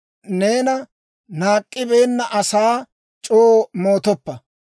Neena naak'k'ibeenna asaa, c'oo moottoppa.